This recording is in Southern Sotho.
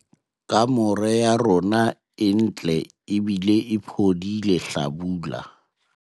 kamore ya rona e ntle ebile e phodile hlabula